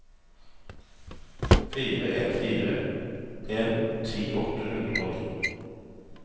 fire en fire en ti åtte hundre og ni